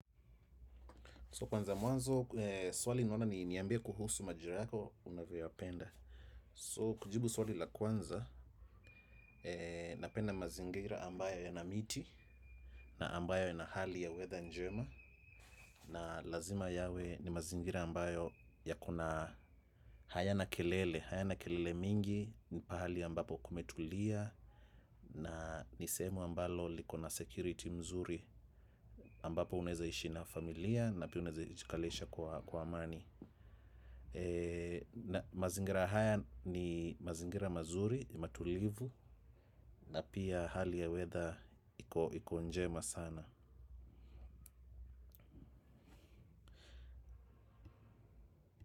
So kwanza mwanzo, swali ninaona ni niambie kuhusu majira yako unavyoyapenda. So kujibu swali la kwanza, napenda mazingira ambayo yana miti na ambayo yana hali ya weather njema. Na lazima yawe ni mazingira ambayo ya kuna hayana kelele, hayana kelele mingi, ni pahali ambapo kumetulia na nisehemu ambalo likona security mzuri ambapo uneza ishi na familia na pia unaeza itikalesha kwa amani. Na mazingira haya ni mazingira mazuri, matulivu na pia hali ya weather iko njema sana.